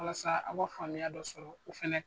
Walasa a wa faamuya dɔ sɔrɔ o fɛnɛ